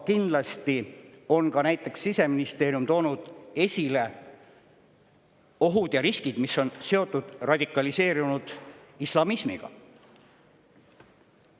Aga näiteks Siseministeerium on toonud esile ohud ja riskid, mis on seotud radikaliseerunud islamismiga.